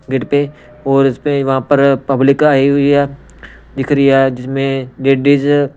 gate पे और इस पे वहां पर पब्लिक आई हुई है दिख रही है जिसमें लेडीज--